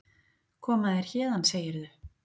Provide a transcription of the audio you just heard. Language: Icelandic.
Koma þér héðan, segirðu?